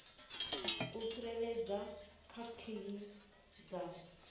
u tsireledza kha khiyi dza